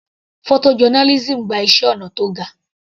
Photo journalism gba iṣẹ́ ọnà tó ga.